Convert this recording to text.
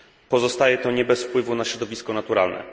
Pozostaje to nie bez wpływu na środowisko naturalne.